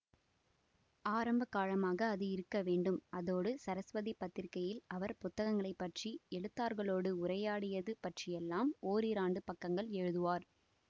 ஆரம்ப காலமாக அது இருக்க வேண்டும் அதோடு சரஸ்வதி பத்திரிகையில் அவர் புத்தகங்களைப் பற்றி எழுத்தாளர்களோடு உரையாடியது பற்றியெல்லாம் ஒரிரண்டு பக்கங்கள் எழுதுவார்